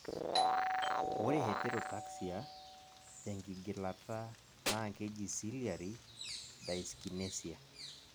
ore heterotaxia tenkigilata naa keji ciliary dyskinesia